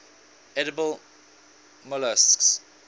edible molluscs